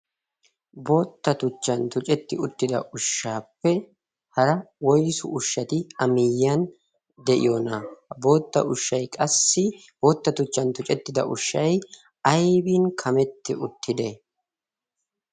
Bootta tuchchan tucetti uttida ushshaappe hara woysu ushshati a miyiyan de'iyoonaa? Bootta ushshay qassi bootta tuchchan tucettida ushshay aybin kametti uttide?